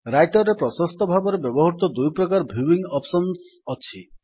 Writer ରେ ପ୍ରସସ୍ତ ଭାବରେ ବ୍ୟବହୃତ ଦୁଇ ପ୍ରକାରର ଭ୍ୟୁଇଙ୍ଗ୍ ଅପ୍ସନ୍ ଅଛି